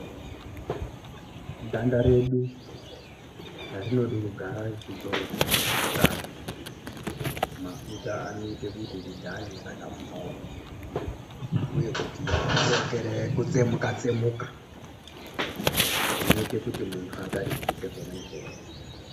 Ganda redu rinode kugare richidzorwe mafuta. Mafuta anoite kuti tigare rakapfawa uye kuti rirekere kutsemuka tsemuka. Zvinoite kuti muntu atarisike zvona izvozvo.